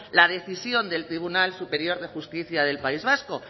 la decisión del tribunal superior de justicia del país vasco